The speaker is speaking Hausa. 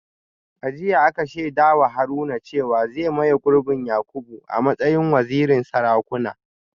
A jiya aka shaida wa Haruna cewa zai maye gurbin Yakubu a matsayin wazirin Sarakuna